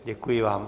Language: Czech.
Děkuji vám.